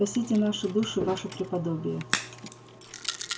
спасите наши души ваше преподобие